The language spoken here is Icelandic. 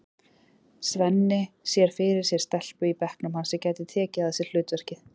Svenni sér fyrir sér stelpu í bekknum hans sem gæti tekið að sér hlutverkið.